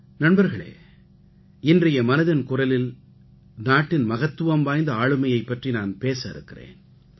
நண்பர்களே இன்றைய மனதின் குரலில் நாட்டின் மகத்துவம் வாய்ந்த ஆளுமையைப் பற்றி நான் பேச இருக்கிறேன்